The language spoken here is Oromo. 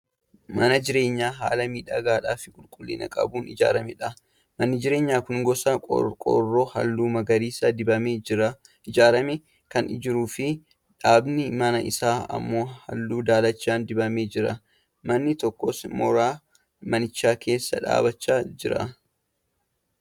Mana jireenyaa haala miidhagaa fi qulqullina qabuun ijaaramedha. Manni jireenyaa kun gosa qorqoorroo halluu magariisa dibameen ijaaramee kan jiruu fi dhaabbiin manaa isaa ammoo halluu daalacha dibamee jira. Namni tokkos mooraa manichaa keessa dhaabachaa jira.